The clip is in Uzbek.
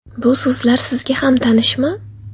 Bu so‘zlar sizga ham tanishmi?